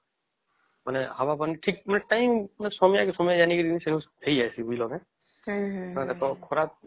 ହାୱା ପାଣି ସବୁ ଠିକ ସମୟ କେ ସମୟ ସାଜିବୁ ଠିକ ହେଇ ଯେଇସେ